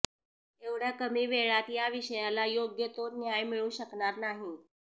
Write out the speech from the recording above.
एवढ्या कमी वेळात या विषयाला योग्य तो न्याय मिळू शकणार नाही